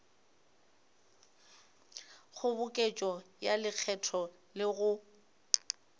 kgoboketšo ya lekgetho le go